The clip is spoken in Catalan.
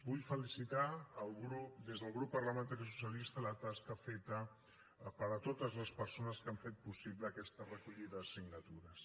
vull felicitar des del grup parlamentari socialista la tasca feta per totes les persones que han fet possible aquesta recollida de signatures